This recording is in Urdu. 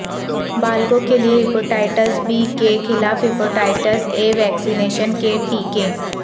بالغوں کے لیے ہیپاٹائٹس بی کے خلاف ہیپاٹائٹس اے ویکسینیشن کے ٹیکے